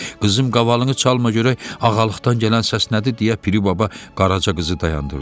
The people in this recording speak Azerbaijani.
Qızım, qavalını çalma görək ağalıqdan gələn səs nədir" deyə Piri baba Qaraca qızı dayandırdı.